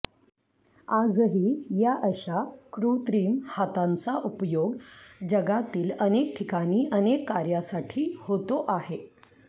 आजही या अशा कृत्रिम हातांचा उपयोग जगातील अनेक ठिकाणी अनेक कार्यासाठी होतो आहे